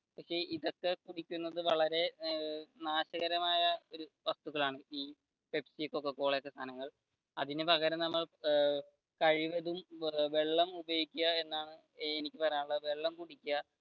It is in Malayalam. പക്ഷെ ഇതൊക്കെ കുടിക്കുന്നത് വളരെ നാശകരമായ ഒരു വസ്തുക്കളാണ് പെപ്സി, കൊക്ക കോള ഒക്കെ സാധനങ്ങൾ അതിനു പകരം നമ്മൾ കഴിവതും വെള്ളം ഉപയോഗിക്കുക എന്നാണ് എനിക്ക് പറയാനുള്ളത് വെള്ളം കുടിക്കുക